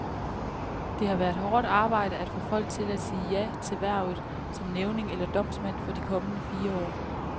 Det har været hårdt arbejde at få folk til at sige ja til hvervet som nævning eller domsmand for de kommende fire år.